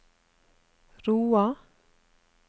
Roa